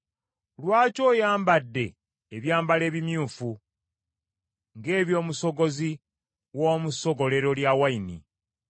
Lwaki oyambadde ebyambalo ebimyufu ng’eby’omusogozi w’omu ssogolero lya wayini?